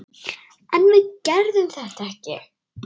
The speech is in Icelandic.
En við gerðum þetta ekki!